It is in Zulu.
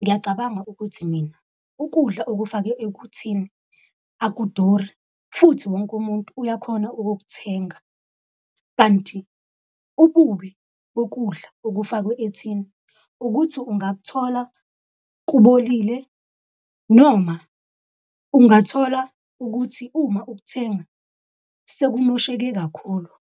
ngiyacabanga ukuthi mina ukudla okufakwe ekuthini akuduri, futhi wonke umuntu uyakhona ukukuthenga. Kanti ububi bokudla okufakwe ethini ukuthi ungakuthola kubolile, noma ungathola ukuthi uma ukuthenga sekumosheke kakhulu.